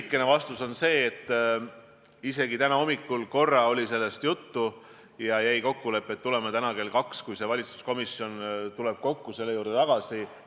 Hästi lühikene vastus on see, et ka täna hommikul oli korra sellest juttu ja jäi kokkulepe, et tuleme täna kell kaks, kui valitsuskomisjon koguneb, selle juurde tagasi.